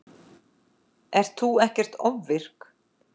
Ert þú ekkert ofvirk?